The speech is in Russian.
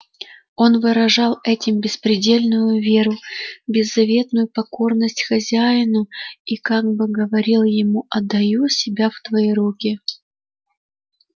он выражал этим беспредельную веру беззаветную покорность хозяину и как бы говорил ему отдаю себя в твои руки